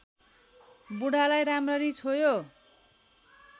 बुढालाई राम्ररी छोयो